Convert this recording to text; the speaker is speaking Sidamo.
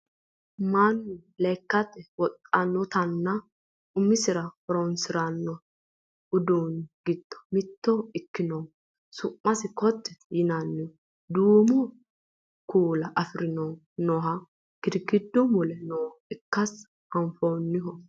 mannu lekkate wodhannotanna umisira horonsiranno uduunni giddo mitto ikkinohu su'masi ko"attete yinannihu duumo kuula afirinohu nooha girgiddu mule nooha ikkasi anfanniho